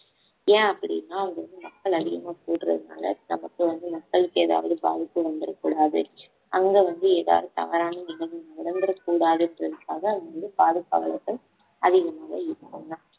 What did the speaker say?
ஏன் அப்படின்னா வந்து மக்கள் அதிகமா கூடுறதுனால நமக்கு வந்து மக்களுக்கு ஏதாவது பாதிப்பு வந்துரக்கூடாது அங்க வந்து ஏதாவது தவறானவிதங்கள் நடத்தற கூடாதுங்கறதுக்காக அங்க வந்து பாதுகாவலர்கள் அதிகமாக இருக்காங்க